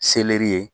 Seleri ye